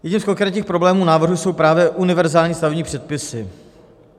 Jedním z konkrétních problémů návrhu jsou právě univerzální stavební předpisy.